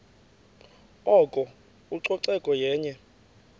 oko ucoceko yenye